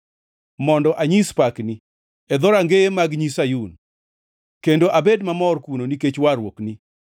mondo anyis pakni e dhorangeye mag Nyi Sayun, kendo abed mamor kuno nikech warruokni.